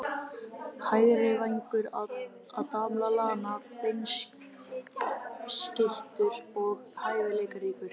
Hægri vængur- Adam Lallana Beinskeyttur og hæfileikaríkur.